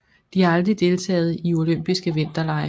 De har aldrig deltaget i olympiske vinterlege